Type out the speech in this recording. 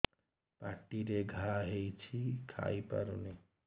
ପାଟିରେ ଘା ହେଇଛି ଖାଇ ହଉନି